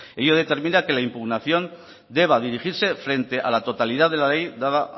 ello determina que la impugnación deba dirigirse frente a la totalidad de la ley dada